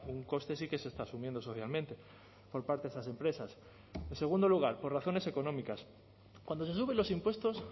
un coste sí que se está asumiendo socialmente por parte de esas empresas en segundo lugar por razones económicas cuando se suben los impuestos